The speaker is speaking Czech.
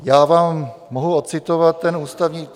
Já vám mohu odcitovat ten ústavní...